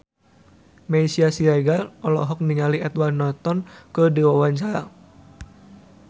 Meisya Siregar olohok ningali Edward Norton keur diwawancara